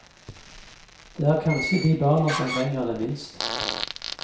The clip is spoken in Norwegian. Det er kanskje de barna som trenger det minst.